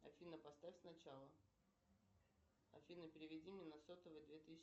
афина поставь сначала афина переведи мне на сотовый две тысячи